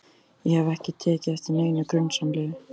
Ég hef ekki tekið eftir neinu grunsamlegu.